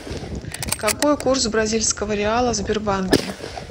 какой курс бразильского реала в сбербанке